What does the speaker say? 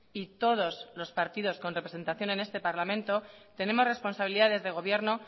y todos los partidos con representación en este parlamento tenemos responsabilidades de gobierno